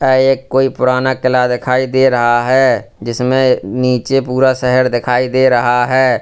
ये एक कोई पुराना किला दिखाई दे रहा है जिसमें नीचे पूरा शहर दिखाई दे रहा है।